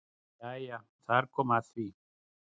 Jæja þar kom að því!